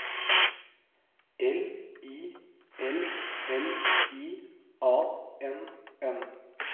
L I L L I A N N